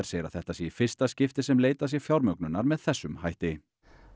segir að þetta sé í fyrsta skipti sem leitað sé fjármögnunar með þessum hætti